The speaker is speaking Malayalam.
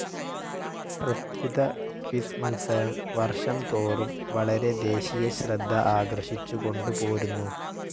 പ്രത്യുത ക്വിസ്‌ മത്സരം വർഷംതോറും വളരെ ദേശീയ ശ്രദ്ധ ആകർഷിച്ചുകൊണ്ടു പോരുന്നു.